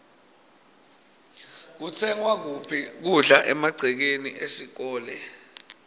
kutsengwa kuphi kudla emagcekeni esikolwe